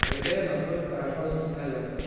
проверяем насколько хорошо распознаёт